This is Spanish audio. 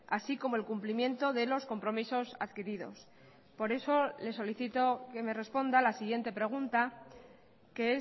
así como el cumplimiento de los compromisos adquiridos por eso le solicito que me responda a la siguiente pregunta que